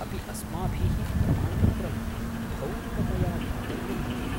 अपि अस्माभिः प्रमाणपत्रं भौतिकतया दातव्यं भवति?